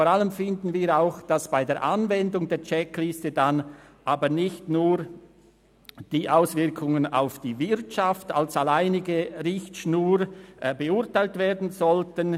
Vor allem sind wir der Meinung, dass bei der Anwendung der Checkliste nicht nur die Auswirkungen auf die Wirtschaft als alleinige Richtschnur beurteilt werden sollten.